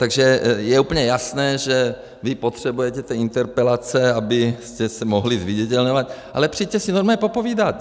Takže je úplně jasné, že vy potřebujete ty interpelace, abyste se mohli zviditelňovat, ale přijďte si normálně popovídat.